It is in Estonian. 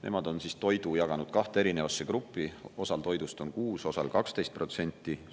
Nemad on toidu jaganud kahte erinevasse gruppi: osal toidust on 6%, osal 12%.